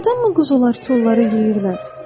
Doğrudanmı quzular kolları yeyirlər?